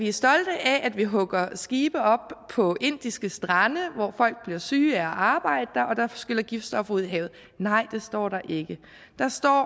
er stolte af at de hugger skibe op på indiske strande hvor folk bliver syge af at arbejde og hvor der skyller giftstoffer ud i havet nej det står der ikke der står